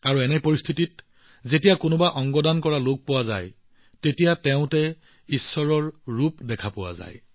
আৰু এনে পৰিস্থিতিত যেতিয়া এজন অংগ দাতা বা শৱদেহ দাতা পোৱা যায় তেতিয়া তেওঁৰ মনত সৰ্বশক্তিমানৰ এক স্বৰূপ দেখা যায়